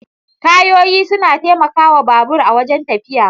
Tayoyi suna taimaka wa babur a wajen tafiya